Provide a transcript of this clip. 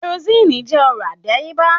Kerosínnì jẹ́ ọrọ̀ àdáyébá